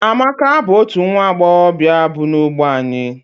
Amaka bu otu nwa Agbogobia bu na-ogbe anyi.